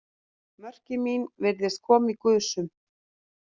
Mörkin mín virðast koma í gusum.